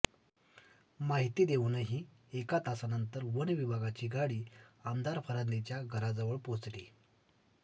माहिती देऊनही एक तासानंतर वन विभागाची गाडी आमदार फरांदेंच्या घराजवळ पोहोचली